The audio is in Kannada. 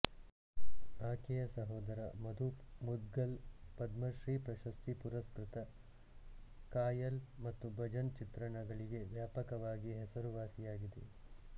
ಆಕೆಯ ಸಹೋದರ ಮಧುಪ್ ಮುದ್ಗಲ್ ಪದ್ಮಶ್ರೀ ಪ್ರಶಸ್ತಿ ಪುರಸ್ಕ್ರತ ಖಾಯಾಲ್ ಮತ್ತು ಭಜನ್ ಚಿತ್ರಣಗಳಿಗೆ ವ್ಯಾಪಕವಾಗಿ ಹೆಸರುವಾಸಿಯಾಗಿದೆ